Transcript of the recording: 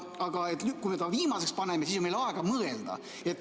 Aga kui me ta viimaseks paneme, siis on meil aega mõelda.